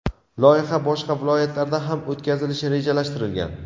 Loyiha boshqa viloyatlarda ham o‘tkazilishi rejalashtirilgan.